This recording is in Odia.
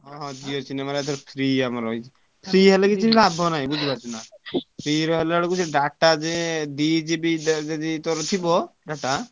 ହଁ ହଁ Jio cinema ରେ ଏଥର free ଆମର ଆଉଛି free ହେଲେ ବି କିଛି ଲାଭ ନାହିଁ ବୁଝିପାରୁଛୁନା। free ରେ ହେଲାବେଳକୁ ସେ data ଯେ ଦି GB ଯଦି ତୋର ଥିବ data ।